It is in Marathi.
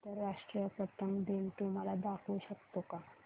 आंतरराष्ट्रीय पतंग दिन तू मला दाखवू शकतो का